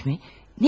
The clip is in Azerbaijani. Döymək mi?